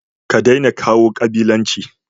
kadaina kawo kabilanci